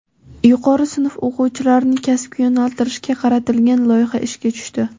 Yuqori sinf o‘quvchilarini kasbga yo‘naltirishga qaratilgan loyiha ishga tushdi.